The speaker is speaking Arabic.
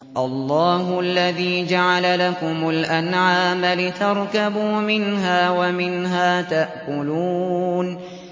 اللَّهُ الَّذِي جَعَلَ لَكُمُ الْأَنْعَامَ لِتَرْكَبُوا مِنْهَا وَمِنْهَا تَأْكُلُونَ